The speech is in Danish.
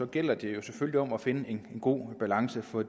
gælder det jo selvfølgelig om at finde en god balance for